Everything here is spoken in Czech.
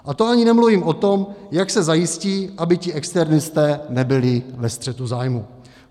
A to ani nemluvím o tom, jak se zajistí, aby ti externisté nebyli ve střetu zájmu.